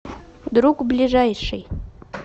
друг ближайший